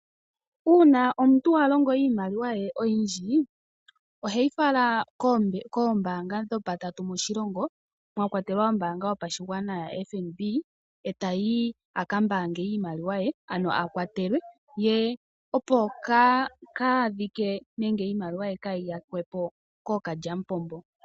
Uuna omuntu alongo iimaliwa ye oyindji oheyi fala kombaanga mwakwatelwa ombaanga ya FNB. Ekeyi mbaange ano akwatelwe opo iimaliwa ye yaahaya kwepo kookalya mupombo.